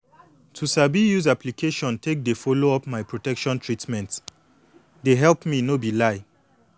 to sabi use application take dey follow up my protection treatment dey help me no be lie